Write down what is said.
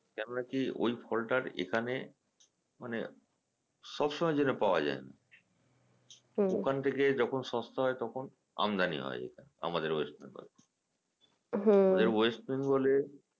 কেননা কি ঐ ফলটার এখানে মানে সবসময় যেটা পাওয়া যায়না ওখান থেকে যখন সস্তা হয় তখন আমদানি হয় এখানে আমাদের West Bengal ওদের West Bengal এ